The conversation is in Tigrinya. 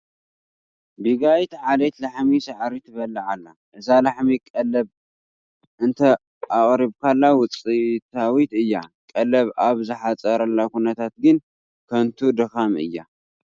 ቢጋይት ዓሌት ላሕሚ ሳዕሪ ትበልዕ ኣላ፡፡ እዛ ላሕሚ ቀለብ እንተኣቕሪብካላ ውፅኢታዊት እያ፡፡ ቀለብ ኣብ ዝሓፅረሉ ኩነነታት ግን ከንቱ ዳኻም እዩ፡፡